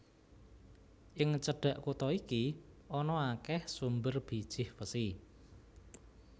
Ing cedhak kutha iki ana akèh sumber bijih wesi